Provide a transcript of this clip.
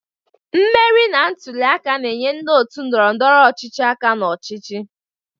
Mmeri na ntuli aka na-enye ndị otu ndọrọ ndọrọ ọchịchị aka na ọchịchị.